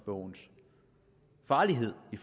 bogens farlighed i